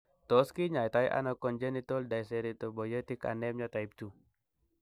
Tos kinyaita ono congenital dyserythropoietic anemia type 2 ?